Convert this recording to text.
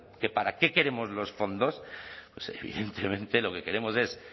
que para qué queremos los fondos pues evidentemente lo que queremos es